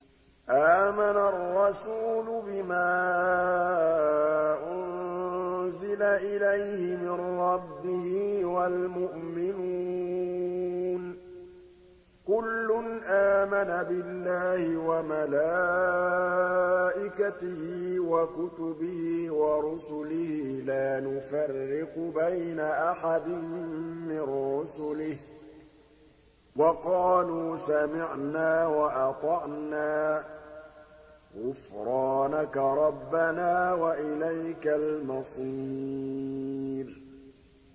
آمَنَ الرَّسُولُ بِمَا أُنزِلَ إِلَيْهِ مِن رَّبِّهِ وَالْمُؤْمِنُونَ ۚ كُلٌّ آمَنَ بِاللَّهِ وَمَلَائِكَتِهِ وَكُتُبِهِ وَرُسُلِهِ لَا نُفَرِّقُ بَيْنَ أَحَدٍ مِّن رُّسُلِهِ ۚ وَقَالُوا سَمِعْنَا وَأَطَعْنَا ۖ غُفْرَانَكَ رَبَّنَا وَإِلَيْكَ الْمَصِيرُ